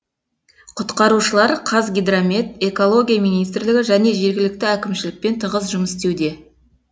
құтқарушылар қазгидромет экология министрлігі және жергілікті әкімшілікпен тығыз жұмыс істеуде